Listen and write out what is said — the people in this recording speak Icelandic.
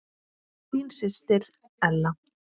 Þín systir Ella.